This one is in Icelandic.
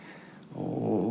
og